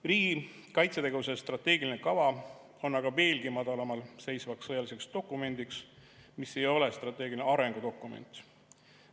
Riigi kaitsetegevuse strateegiline kava on aga veelgi madalamal seisev sõjaline dokument, mis ei ole strateegiline arengudokument.